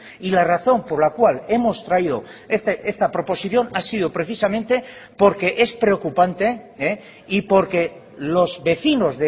y la razón por la cual hemos traído esta proposición ha sido precisamente porque es preocupante y porque los vecinos